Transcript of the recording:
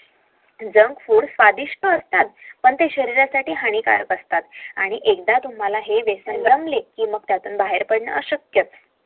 JUNK FOOD स्वादिस्ट असतात पण ते शरीरसाठी हानिकारक असतात